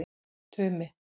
Tumi